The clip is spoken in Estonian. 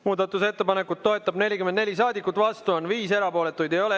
Muudatusettepanekut toetab 44 saadikut, vastu on 5, erapooletuid ei ole.